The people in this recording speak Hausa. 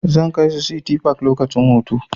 Zan kai su City park lokacin hutu.